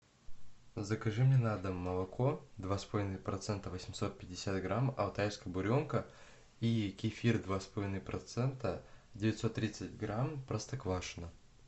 закажи мне на дом молоко два с половиной процента восемьсот пятьдесят грамм алтайская буренка и кефир два с половиной процента девятьсот тридцать грамм простоквашино